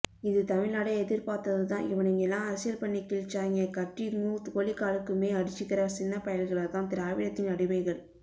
இத தமிழ்நாடே எதிர்பார்த்ததுதான் இவனுகெல்லாம் அரசியல் பண்ணி கிழிச்சாய்ங்கே கட்டிங்கும் கோழிக்காலுக்குமே அடிச்சிக்கிற சின்னபயல்களதான் திராவிடத்தின் அடிமைகள்